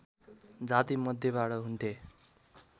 जाति मध्येबाट हुन्थे